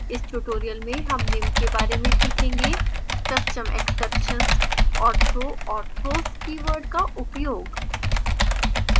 इस tutorial में हम निम्न के बारे में सीखेंगे: custom exceptions और throw और throws keywords का उपयोग